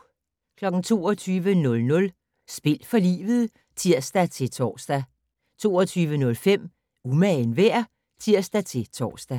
22:00: Spil for livet (tir-tor) 22:05: Umagen værd? (tir-tor)